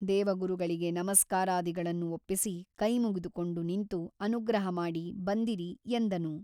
ದೇವಗುರುಗಳಿಗೆ ನಮಸ್ಕಾರಾದಿಗಳನ್ನು ಒಪ್ಪಿಸಿ ಕೈಮುಗಿದುಕೊಂಡು ನಿಂತು ಅನುಗ್ರಹ ಮಾಡಿ ಬಂದಿರಿ ಎಂದನು.